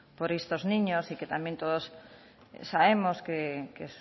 por estos niños y que también todos sabemos que